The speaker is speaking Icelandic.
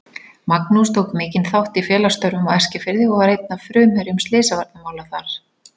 Magnús tók mikinn þátt í félagsstörfum á Eskifirði og var einn af frumherjum slysavarnamála þar.